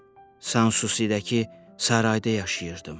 Sənsusi-də ki, sarayda yaşayırdım.